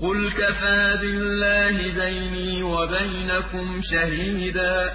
قُلْ كَفَىٰ بِاللَّهِ بَيْنِي وَبَيْنَكُمْ شَهِيدًا ۖ